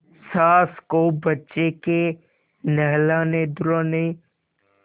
सास को बच्चे के नहलानेधुलाने